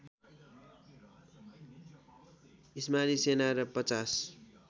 इस्माली सेना र पचास